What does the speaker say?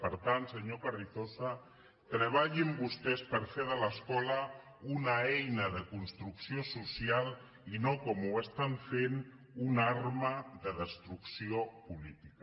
per tant senyor carrizosa treballin vostès per fer de l’escola una eina de construcció social i no com ho estan fent una arma de destrucció política